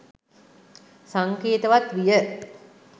සංකේතවත් විය.